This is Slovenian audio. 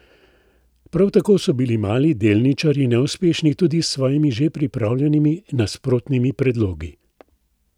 Prav tako so bili mali delničarji neuspešni tudi s svojimi že pripravljenimi nasprotnimi predlogi.